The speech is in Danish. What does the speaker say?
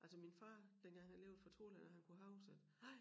Altså min far dengang han levede fortalte han at han kunne huske at